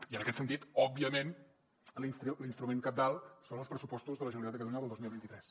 i en aquest sentit òbviament l’instrument cabdal són els pressupostos de la generalitat de catalunya del dos mil vint tres